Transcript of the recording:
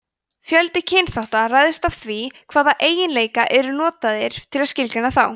fjöldi kynþátta ræðst af því hvaða eiginleikar eru notaðir til að skilgreina þá